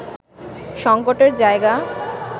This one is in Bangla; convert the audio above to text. সংকটের জায়গা